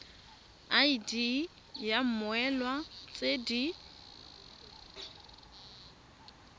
id ya mmoelwa tse di